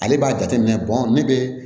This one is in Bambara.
Ale b'a jateminɛ ne bɛ